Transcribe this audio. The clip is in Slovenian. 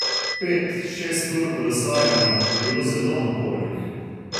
Pet, šest ur kolesarjenja je bilo zelo napornih.